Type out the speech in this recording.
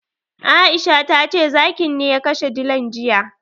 Aisha tace zakin ne ya kashe dilan jiya.